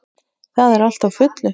Það er allt á fullu.